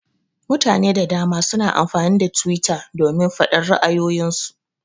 Mutane da dama suna amfani da twitter domin faɗar ra'ayoyin su.